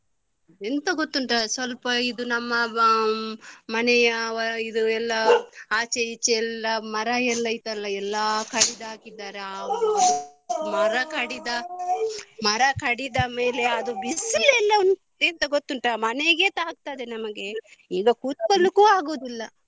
ಎಂತ ಗೊತ್ತುಂಟ ಸ್ವಲ್ಪ ಇದು ನಮ್ಮ ಹ್ಮ್‌ ಮನೆಯ ಇದು ಎಲ್ಲ ಆಚೆ ಈಚೆ ಎಲ್ಲ ಮರಯೆಲ್ಲ ಇತ್ತಲ್ಲ ಎಲ್ಲಾ ಕಡಿದ್ದಾಕಿದ್ದಾರೆ ಮರ ಕಡಿದ ಮರ ಕಡಿದ ಮೇಲೆ ಅದು ಬಿಸಿಲು ಎಲ್ಲ ಎಂತ ಗೊತ್ತುಂಟ ಮನೆಗೆ ತಾಗ್ತದೆ ನಮಗೆ ಈಗ ಕುತ್ಕೋಳಿಕ್ಕೂ ಆಗುದಿಲ್ಲ.